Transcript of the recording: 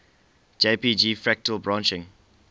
jpg fractal branching